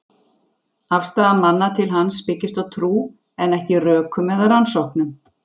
Afstaða manna til hans byggist á trú, en ekki rökum eða rannsóknum.